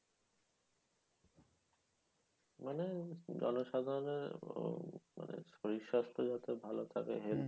মানে জনসাধারণের আহ মানে শরীর স্বাস্থ যাতে ভালো থেকে health